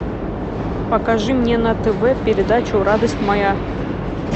покажи мне на тв передачу радость моя